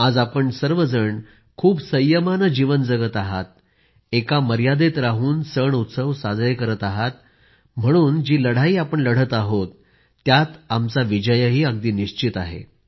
आज आपण सर्व जण खूप संयमानं जीवन जगत आहात एका मर्यादेत राहून सण उत्सव साजरे करत आहात म्हणून जी लढाई आपण लढत आहोत त्यात आमचा विजयही अगदी निश्चित आहे